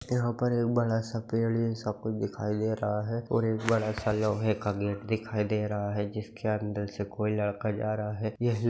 यहाँ पर एक बड़ा सा पेड़ ये सब को दिखाई दे रहा है और एक बड़ा सा लोहे का गेट दिखाई दे रहा है जिसके अन्दर से कोई लड़का जा रहा --